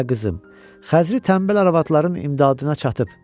Hə, qızım, xəzri tənbəl arvadların imdadına çatıb.